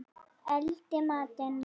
Elda matinn.